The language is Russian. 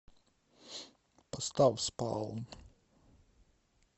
поставь спалм